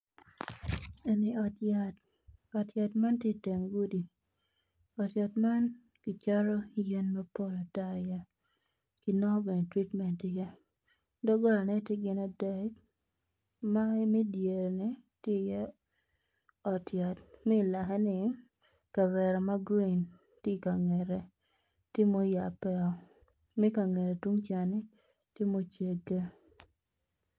Eni ot yat, ot yat man tye i teng gudi, ot yat man kicato yen mapol ata iye ki nongo bene treatment i ye dogola ne tye gin adek ma me idyere ni tye iye ot yat ma i lake ni kavera ma gurin tye kangete tye moyabe o ma kangete tungca tye mucege.